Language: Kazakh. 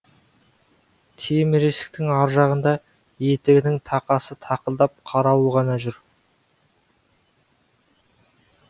темір есіктің ар жағында етігінің тақасы тақылдап қарауыл ғана жүр